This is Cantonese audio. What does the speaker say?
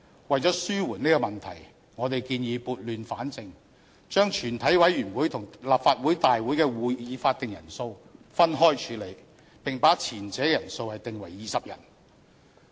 為了紓緩這個問題，我們建議撥亂反正，將全體委員會與立法會大會的會議法定人數分開處理，並把前者的人數訂為20人。